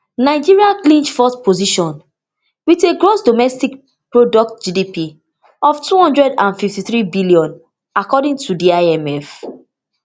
nigeria clinch fourth position wit a gross domestic product gdp of two hundred and fifty-threebn according to di imf